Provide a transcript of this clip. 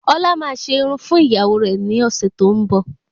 Ọlá máa se Irun fún ìgbéyàwó rẹ ni ọsẹ tó ń bo